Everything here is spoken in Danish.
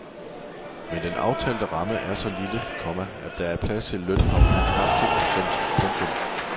Men den aftalte ramme er så lille, komma at der er plads til lønhop på knap to procent. punktum